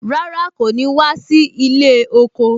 Rárá, kò ní wá sí ilé oko